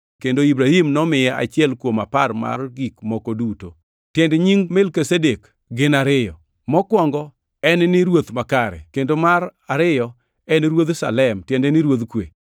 kendo Ibrahim nomiye achiel kuom apar mar gik moko duto. Tiend nying Melkizedek gin ariyo, mokwongo en ni ruoth makare, kendo mar ariyo en Ruodh Salem tiende ni Ruodh kwe.